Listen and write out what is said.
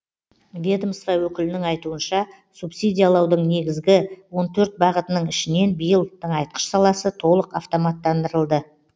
ведомство өкілінің айтуынша субсидиялаудың негізгі он төрт бағытының ішінен биыл тыңайтқыш саласы толық автоматтандырылды